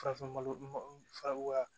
Farafinlo fara